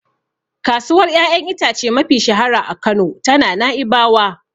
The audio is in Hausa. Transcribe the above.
Kasuwar ƴaƴan itace mafi shahara a Kano tana Nai'bawa.